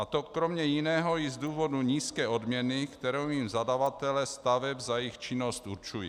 A to kromě jiného i z důvodu nízké odměny, kterou jim zadavatelé staveb za jejich činnost určují.